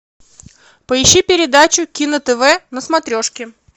поищи передачу кино тв на смотрешке